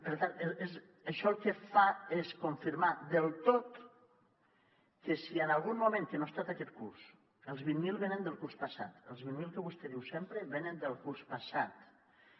per tant això el que fa és confirmar del tot que si en algun moment que no ha estat aquest curs els vint mil venen del curs passat els vint mil que vostè diu sempre venen del curs passat